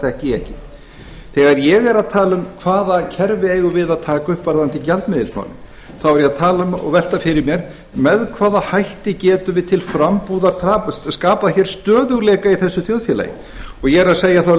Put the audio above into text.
þekki ég ekki þegar ég er að tala um hvaða kerfi eigum við að taka upp varðandi gjaldmiðilsmálin þá er ég að tala um og velta fyrir mér með hvaða hætti getum við til frambúðar skapað stöðugleika í þessu þjóðfélagi og ég er að